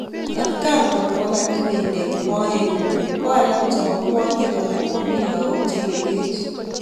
Atakaan koraa kokanyii ng'endek moet ngung ko alaak chepo kwanyik alaak komii lagok chemengech